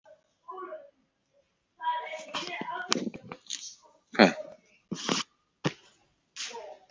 Styttan stóra stendur fyrir framan sambýlishúsið í París.